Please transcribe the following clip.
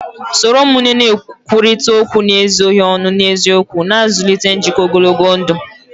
Soro ụmụnne na-ekwurịta okwu n'ezoghị ọnụ na n'eziokwu, na-azụlite njikọ ogologo ndụ